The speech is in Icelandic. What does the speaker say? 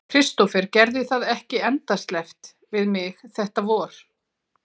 Kristófer gerði það ekki endasleppt við mig þetta vor.